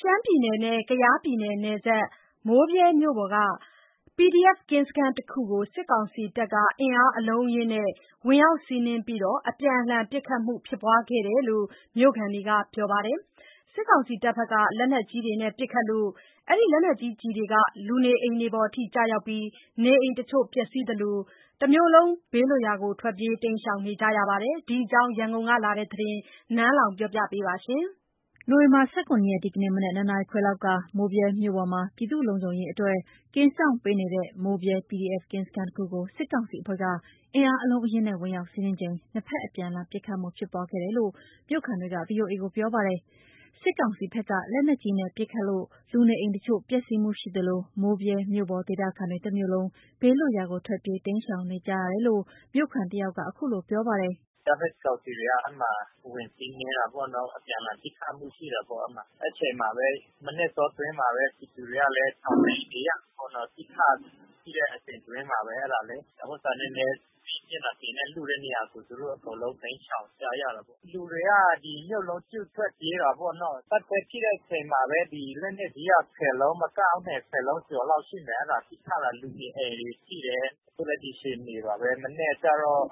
ရှမ်းပြည်နယ်နဲ့ ကယားပြည်နယ်နယ်စပ် မိုးဗြဲမြို့ပေါ် PDF ကင်းစခန်းတခုကို စစ်ကောင်စီက အင်အားအလုံးအရင်းနဲ့ ဝင်ရောက်စီးနင်းပြီး အပြန်အလှန်ပစ်ခတ်မှုဖြစ်ပွားခဲ့တယ်လို့ မြို့ခံတွေက ပြောပါတယ်။ စစ်ကောင်စီက လက်နက်ကြီးတွေနဲ့ ပစ်ခတ်လို့ လူနေအိမ်တွေပေါ် ကျရောက်ပြီး နေအိမ်တချို့ပျက်စီးသလို တမြို့လုံး ဘေးလွတ်ရာကို ထွက်ပြေးနေကြရပါတယ်။ ဒီအကြောင်း ရန်ကုန်ကလာတဲ့ ဒီသတင်းကို နန်းလောဝ်က တင်ပြပေးထားပါတယ်။ နိုဝင်ဘာ ၁၇ ရက် ဒီနေ့ မနက် ၂ နာရီခွဲလောက်က မိုးဗြဲမြို့ပေါ်မှာ ပြည်သူ့လုံခြုံရေးအတွက် ကင်းစောင့်ပေးနေတဲ့ မိုးဗြဲ PDF ကင်းစခန်းတခုကို စစ်ကောင်စီအဖွဲ့က အင်အားအလုံးအရင်းနဲ့ ဝင်ရောက်စီးနင်းချိန် နှစ်ဘက် အပြန်အလှန်ပစ်ခတ်မှုဖြစ်ပွားခဲ့တယ်လို့ မြို့ခံတွေက VOAကို ပြောပါတယ်။ စစ်ကောင်စီဘက်က လက်နက်ကြီးနဲ့ ပစ်ခတ်မှုကြောင့် လူနေအိမ်တချို့ပျက်စီးမှုရှိသလို မိုးဗြဲမြို့ပေါ်ဒေသခံတွေ တမြို့လုံး ဘေးလွတ်ရာကို ထွက်ပြေးတိမ်းရှောင်နေကြရတယ်လို့ မြို့ခံတဦးက အခုလို ပြောပါတယ်။ “အကြမ်းဖက်စစ်ကောင်စီတွေက အဲ့မှာ ဝင်စီးနင်းတာပေါ့နော်။ အပြန်အလှန်ပစ်ခက်မှုရှိတာပေါ့ အဲ့မှာ။ အဲဒီအချိန်မှာပဲ မနက်အတောတွင်းမှာပဲ ပြည်သူတွေကလည်း ရှောင်တိမ်းနေရတာပေ့ါနော်။ ပစ်ခတ်ဖြစ်တဲ့ အချိန်တွင်းထဲမှာပဲ နည်းနည်းလွတ်တဲ့နေရာဆို သူတို့ အကုန်လုံး တိမ်းရှောင်ကြရတာပေါ့။ လူတွေက ဒီမြို့လုံးကျွတ်ထွက်ပြေးတာပေါ့နော်၊ တိုက်ပွဲဖြစ်တဲ့အချိန်မှာပဲ။ ဒီလက်နက်ကြီးက ၁၀ လုံး မကဘူး၊ ၁၀ လုံးကျော်လောက်ရှိမယ်၊ အဲ့ဒါပစ်ခတ်တာ။ လူနေအိမ်တွေ ထိတယ်။ အခုဒီအခြေအနေပါပဲ။ မနက်ကျတော့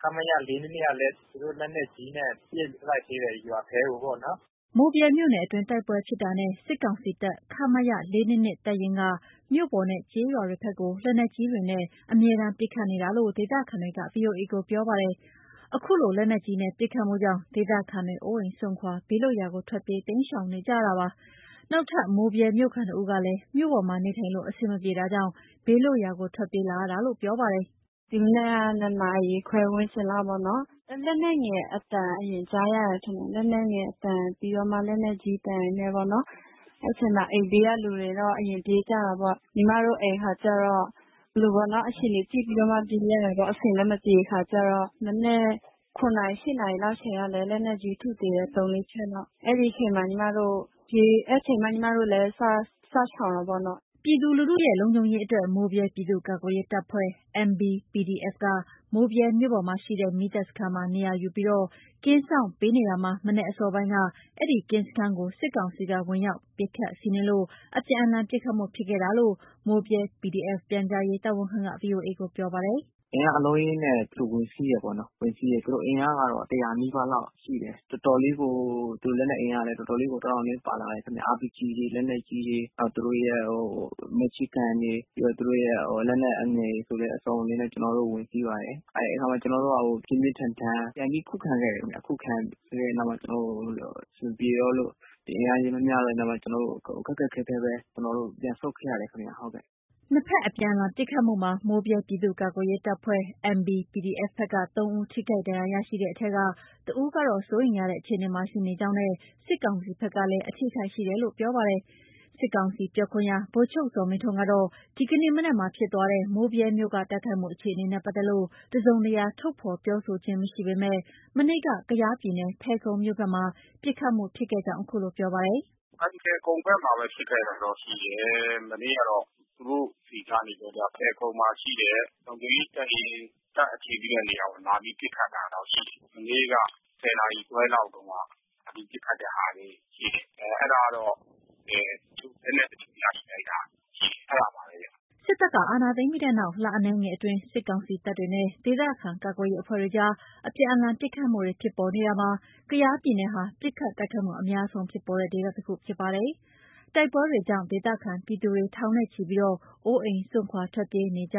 ခမရ ၄၂၂ ကလည်း သူတို့ လက်နက်ကြီးနဲ့ ပစ်လိုက်သေးတယ်၊ ရွာထဲကိုပေ့ါနော်။” မိုးဗြဲမြို့နယ်အတွင်း တိုက်ပွဲဖြစ်တာနဲ့ စစ်ကောင်စီတပ် ခမရ ၄၂၂ တပ်ရင်းကနေ မြို့ပေါ်နဲ့ ကျေးရွာတွေဘက်ကို လက်နက်ကြီးတွေနဲ့အမြဲတမ်းပစ်ခတ်နေတာလို့ ဒေသခံတွေက VOA ကို ပြောပါတယ်။ အခုလို လက်နက်ကြီးနဲ့ ပစ်ခတ်မှုကြောင့် ဒေသခံတွေ အိုးအိမ်စွန့်ခွာ ဘေးလွတ်ရာကို ထွက်ပြေးတိမ်းရှောက် နေကြရတာပါ။ နောက်ထပ် မိုးဗြဲမြို့ခံတဦးကလည်း မြို့ပေါ်မှာ နေထိုင်လို့ အဆင်မပြေတာကြောင့် ဘေးလွတ်ရာကို ထွက်ပြေးလာရတာလို့ ပြောပါတယ်။ “ဒီမနက်က ၂ နာရီခွဲဝန်းကျင်လောက်ပေါ့နော်၊ လက်နက်ငယ်အသံ အရင်ကြားရတယ်ထင်တယ်။ လက်နက်ငယ်အသံ ပြီးတော့မှ လက်နက်ကြီးအသံနဲ့ပေါ့နော်။ အဲ့ချိန် အိမ်ဘေးကလူတွေတော့ အရင်ပြေးကြတာပေ့ါ။ ညီမတို့ အိမ်ကကျတော့ အဲ့လိုပေါ့နော်၊ အခြေအနေကြည့်ပြီးတော့ ပြေးရတာပေါ့၊ အဆင်လည်းမပြေတဲ့အခါကျတော့။ မနက် ၇ နာရီ ၈ နာရီလောက်ချိန်ကလည်း လက်နက်ကြီး ထုသေးတယ်၊ သုံး လေး ချက်လောက်။ အဲ့ဒီချိန်မှာ ညီမတို့လည်း စရှောင်တာပေါ့နော်။” ပြည်သူ့လူထုရဲ့ လုံခြုံရေးအတွက် မိုးဗြဲပြည်သူ့ကာကွယ်ရေးတပ်ဖွဲ့ က မိုးဗြဲမြို့ပေါ်မှာရှိတဲ့ မီသတ်စခန်းမှာ နေရာယူပြီး ကင်းစောင့်ပေးနေတာမှာ မနက် အစောပိုင်းက အဲ့ကင်းစခန်းကို စစ်ကောင်စီက ဝင်ရောက် ပစ်ခတ်စီးနင်းလို့ အပြန်အလှန်ပစ်ခတ်မှု ဖြစ်ခဲ့တာလို့ မိုးဗြဲ PDF ပြန်ကြားရေးတာဝန်ခံက VOA ကို ပြောပါတယ်။ “အင်အားအလုံးအရင်းနဲ့ သူတို့ ဝင်စီးတယ်ပေါ့နော်။ ဝင်စီးတယ်။ သူတို့ အင်အားကတော့ ၁၀၀ နီးပါးလောက် ရှိတယ်။ သူတို့ လက်နက်အင်အားလည်း တော်တော်လေးကို တောင့်တောင့်တင်းတင်း ပါလာတယ်ခင်ဗျ။ RPG တွေ၊ လက်နက်ကြီးတွေ၊ သူတို့ မရှင်းဂန်း တွေ၊ ပြီးတော့ သူတို့ရဲ့ လက်နက် အငယ်တွေဆိုလည်း စုံစုံလင်လင်နဲ့ ကျနော်တို့ကို ဝင်စီးပါတယ်။ အဲ့ခါမှာ ကျနော်တို့ ပြင်းပြင်းထန်ထန် ပြန်ပြီးခုခံခဲ့တယ်ခင်ဗျ။ ခုခံတဲ့နောက်မှာ ကျနော်တို့ အဆင်မပြေတော့လို့ အင်အားချင်မမျှလို့ ခက်ခက်ခဲခဲပဲ ကျနော်တို့ ပြန်ဆုတ်ခဲ့ရတယ်ခင်ဗျ၊ ဟုတ်ကဲ့။” နှစ်ဘက်အပြန်အလှန်ပစ်ခတ်မှုမှာ မိုးဗြဲပြည်သူ့ကာကွယ်ရေးတပ်ဖွဲ့ ဘက်က ၃ ဦး ထိခိုက်ဒဏ်ရာရရှိတဲ့အထဲ တဦးကတော့ စိုးရိမ်ရတဲ့ အခြေအနေမှာ ရှိနေကြောင်းနဲ့ စစ်ကောင်စီဘက်လည်း အထိအခိုက်ရှိတယ်လို့ ပြောပါတယ်။ စစ်ကောင်စီပြောခွင့်ရ ဗိုလ်ချုပ် ဇော်မင်းထွန်းကတော့ ဒီကနေ့မနက်ဖြစ်သွားတဲ့ မိုးဗြဲမြို့က တိုက်ခိုက်မှုအခြေအနေနဲ့ပတ်သက်လို့ တစုံတရာ ထုတ်ဖော်ပြောဆိုခြင်းမရှိပေမယ့် မနေ့က ကယားပြည်နယ်၊ ဖယ်ခုံမြို့ဘက်မှာ ပစ်ခတ်မှု ဖြစ်ခဲ့ကြောင်း အခုလို ပြောပါတယ်။ "အဲ့ဒီ့ဖယ်ခုံဘက်မှာပဲ ဖြစ်ခဲ့တာတော့ရှိတယ်။ မနေ့ကတော့ သူတို့ဆီကနေပြီးကျတော့ အဲ့ဒီ့ဖယ်ခုံဘက်မှာရှိတဲ့ လုံခြုံရေးတပ်ရင်း တပ်အခြေပြုတဲ့နေရာကို လာပြီးပစ်ခံရတော့ရှိတယ်။ မနေ့က ၁၀ နာရီခွဲလောက်ကတုန်းက လာပြီးပစ်ခတ်တာတွေရှိတယ်။ အဲ့တာကနေ တချို့လက်နက်တချို့ ရရှိလိုက်တာရှိတယ်။ အဲဒါပါပဲဗျ။" စစ်တပ်က အာဏာသိမ်းပြီးတဲ့နောက် လအနည်းငယ်အတွင်း စစ်ကောင်စီတပ်တွေနဲ့ ဒေသခံ ကာကွယ်ရေးအဖွဲ့တွေအကြား အပြန်လှန် ပစ်ခတ်မှုတွေ ဖြစ်ပေါ်နေတာမှာ ကယားပြည်နယ်ဟာ ပစ်ခတ်တိုက်ခိုက်မှု အများဆုံးဖြစ်ပေါ်နေတဲ့ ဒေသတခုဖြစ်ပါတယ်။ တိုက်ပွဲတွေကြောင့် ဒေသခံပြည်သူတွေ ထောင်နဲ့ချီပြီး အိုးအိမ်စွန့်ခွာ ထွက်ပြေးနေကြ